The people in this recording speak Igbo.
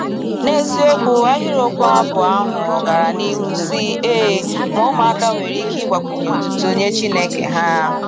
N’eziokwu, ahịrịokwu abụ ahụ gara n’ihu sị: ee, ma ụmụaka nwere ike ịgbakwunye otuto nye Chineke ha.